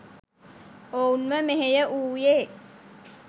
ඔවුන්ව මෙහෙය වුයේ